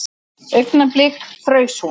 Augnablik fraus hún.